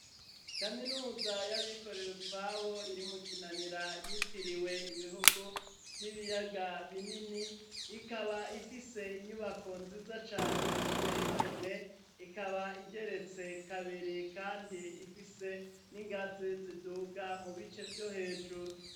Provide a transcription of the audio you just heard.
Kaminuza y'abikorera utwabo iri mukinanira yitiriwe ibihugu vy'ibiyaga binini ikaba ifise inyubako nziza cane ziteyigomwe, ikaba igeretse kabiri kandi ifise n'ingazi ziduga mu bice vyo hejuru.